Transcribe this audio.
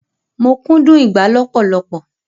Mo kúndùn ìgbá lọpọlọpọ